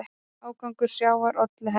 Ágangur sjávar olli henni.